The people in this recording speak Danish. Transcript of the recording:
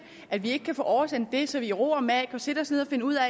at vi ikke kan få oversendt det så vi i ro og mag kan sætte os ned og finde ud af